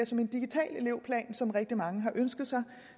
som en digital elevplan som rigtig mange har ønsket sig